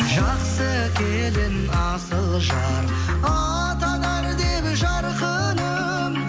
жақсы келін асыл жар атанар деп жарқыным